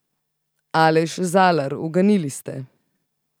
Aleš Zalar, uganili ste.